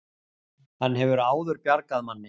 Hann hefur áður bjargað manni